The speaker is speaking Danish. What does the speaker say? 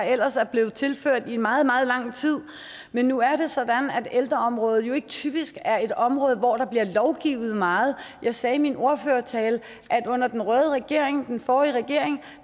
der ellers er blevet tilført i meget meget lang tid men nu er det sådan at ældreområdet jo ikke typisk er et område hvor der bliver lovgivet meget jeg sagde i min ordførertale at under den røde regering den forrige regering